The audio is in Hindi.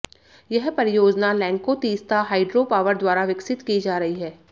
यह परियोजना लैंको तीस्ता हाइड्रो पावर द्वारा विकसित की जा रही है